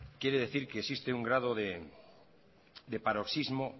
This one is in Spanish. quiere decir que existe un grado de paroxismo